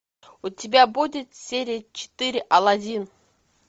у тебя будет серия четыре алладин